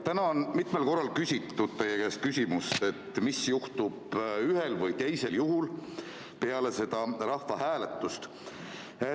Täna on mitmel korral küsitud teie käest, mis juhtub ühel või teisel juhul peale seda rahvahääletust.